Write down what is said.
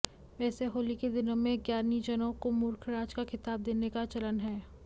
वैसे होली के दिनों में ज्ञानीजनों को मूर्खराज का खिताब देने का चलन है